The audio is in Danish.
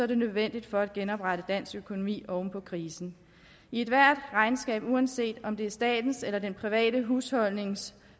det nødvendigt for at genoprette dansk økonomi oven på krisen i ethvert regnskab uanset om det er statens eller den private husholdnings